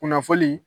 Kunnafoni